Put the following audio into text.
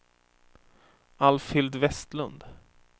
Alfhild Westlund